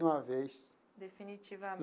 De uma vez. Definitivamente.